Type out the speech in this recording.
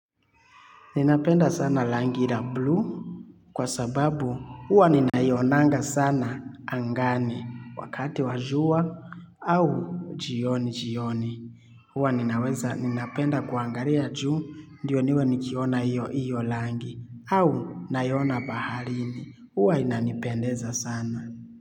Ninapenda sana rangi la blue kwa sababu huwa ninaonanga sana angani wakati wa jua au jioni jioni. Huwa ninaweza ninapenda kuangalia juu ndiyo niwe nikiona iyo iyo rangi au naiona baharini. Huwa inanipendeza sana.